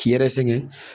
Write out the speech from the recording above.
K'i yɛrɛ sɛgɛn